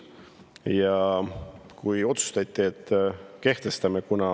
Ja otsustati, et kehtestame maksu.